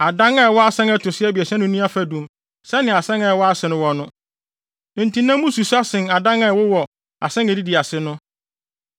Adan a ɛwɔ asan a ɛto so abiɛsa no nni afadum sɛnea asan a ɛwɔ ase no wɔ no; enti na mu susua sen adan a ɛwowɔ asan a edidi ase no.